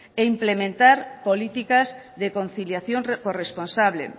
e implementar políticas de conciliación corresponsable